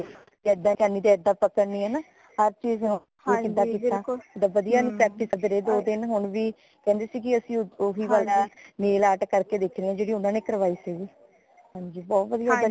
ਏਦਾਂ ਨੀ ਤੇ ਏਦਾਂ ਪਕੜਨੀ ਹੈ ਨਾ ਹਰ ਚੀਜ਼ ਨੂ ਕਿਦਾਂ ਕਿਤਾ ਵਧੀਆ ਤਰਾਂ practice ਕਰਦੇ ਰਏ ਦੋ ਦਿਨ ਹੁਣ ਵੀ ਕਹਿੰਦੇ ਸੀਗੇ ਅਸੀਂ ਉਹ ਵੀ ਕਰਨਾ nail art ਕਰ ਕੇ ਦੇਖਣੇ ਜੇੜੀ ਊਨਾ ਨੇ ਕਾਰਵਾਈ ਸੀਗੀ ਹਾਂਜੀ ਬਹੁਤ ਵਧੀਆ ਗੱਲ